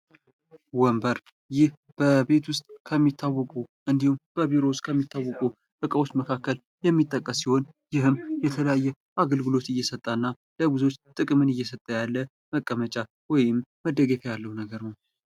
ወንበር ይህ በቤት ውስጥ ከሚታወቁ እንዲሁም በቢሮ ውስጥ ከሚታወቁ እቃዎች መካከል የሚጠቀስ ሲሆን ይህም የተለያየ አገልግሎት እየሰጠ እና ለብዙዎች ጥቅምን እየሰጠ ያለ መቀመጫ ወይም መደገፊያ ያለው ነገር ነው።